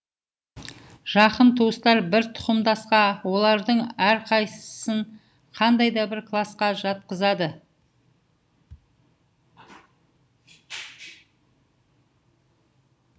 жақын туыстар бір тұқымдасқа олардың әрқайсысын қандай да бір класқа жатқызады